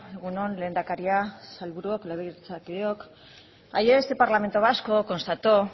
egun on lehendakaria sailburuok legebiltzarkideok ayer este parlamento vasco constató